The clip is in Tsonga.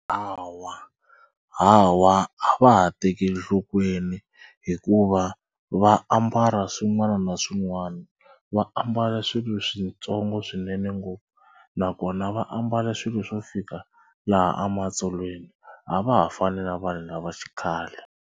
Hawa hawa a va ha tekeli nhlokweni hikuva va ambala swin'wana na swin'wana. Va ambala swilo switsongo swinene ngopfu nakona va ambala swilo swo fika laha ematsolweni a va ha fani na vanhu lava xikhale.